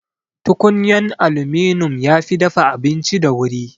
Tukunyan aluminum yafi dafa abinci da wuri